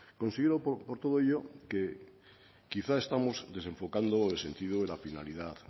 considero por todo ello que quizás estamos desenfocando el sentido de la finalidad